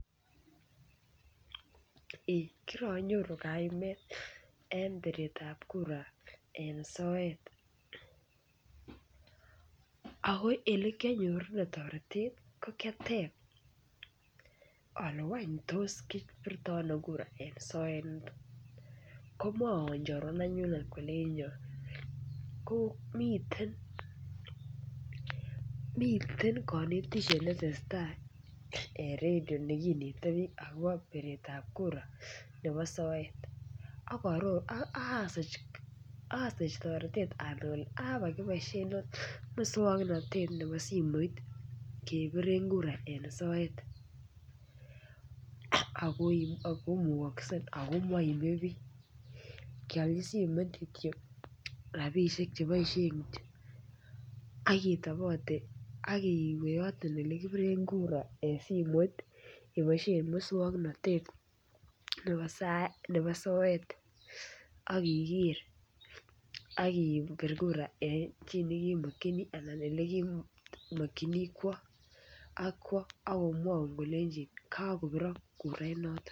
kira nyoru kaimet eng piret ap kuraa eng soet. ako olikianyoru taretet ko kiatep ngwan tos kipirtai ano kurait eng sote, komwaiwa chorwenyut kolenja miten miten kanitishet netesetai eng radie nigeti pich akopa piret ap kurait , asich taretet anai ale makipaishe mosanatet nepasimet kepire kura eng soet akomugasei ako meimi pich. kialchi simet kityo rapishek chekipaishe atiam iwe yotok olekipire kurait eng simet kepaishe mosongnotet nep soet akiker akipir kurait eng chito nekemakchini ak kwa kolenjin kakopirak kurait notok.